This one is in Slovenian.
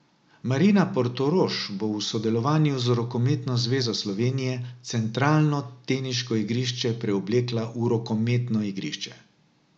Marina Portorož bo v sodelovanju z Rokometno zvezo Slovenije centralno teniško igrišče preoblekla v rokometno igrišče.